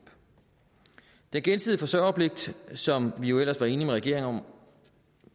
den gensidige forsørgerpligt som vi jo ellers var enige med regeringen om